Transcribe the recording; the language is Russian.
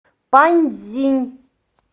паньцзинь